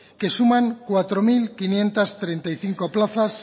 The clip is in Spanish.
que suman cuatro mil quinientos treinta y cinco plazas